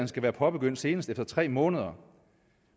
skal være påbegyndt senest efter tre måneder